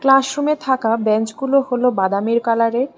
Class রুমে থাকা বেঞ্চগুলো হলো বাদামের কালারের।